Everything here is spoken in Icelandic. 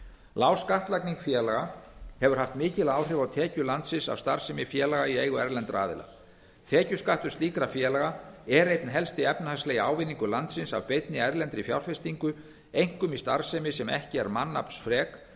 lág skattlagning félaga hefur haft mikil áhrif á tekjur landsins af starfsemi félaga í eigu erlendra aðila tekjuskattur slíkra félaga er einn helsti efnahagslegi ávinningur landsins af beinni erlendri fjárfestingu einkum í starfsemi sem ekki er mannaflsfrek